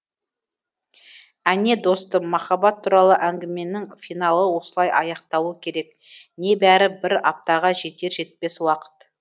әне достым махаббат туралы әңгіменің финалы осылай аяқталуы керек небәрі бір аптаға жетер жетпес уақыт